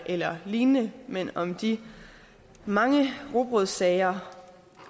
eller lignende men om de mange rugbrødssager